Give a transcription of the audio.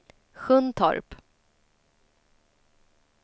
Sjuntorp